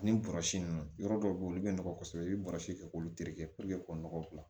Ani bɔrɔsi nunnu yɔrɔ dɔw be ye olu be nɔgɔ kosɛbɛ i be bɔrɔsi kɛ k'olu tereke k'o nɔgɔ dilan